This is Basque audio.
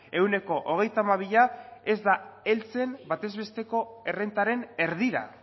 ehuneko hogeita hamabia ez da heltzen batez besteko errentaren erdira